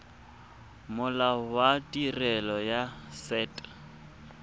molao wa tirelo ya set